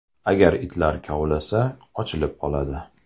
Agar itlar kovlasa, ochilib qoladi.